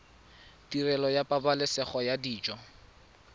tirelo ya pabalesego ya dijo